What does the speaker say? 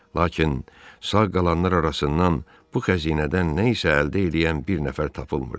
Lakin sağ qalanlar arasından bu xəzinədən nə isə əldə eləyən bir nəfər tapılmırdı.